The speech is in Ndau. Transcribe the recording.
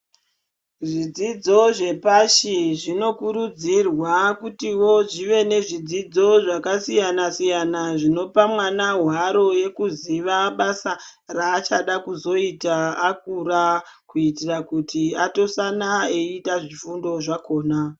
Zvidzidzo zvepashi zvinokurudzirwa kuti wo zvive nezvidzidzo zvakasiyana siyana kuti zvipe mwana hwaro yekuziva basa raachaea kuzoita akura kuitira kuti atosana eifunda zvifundo zvakona.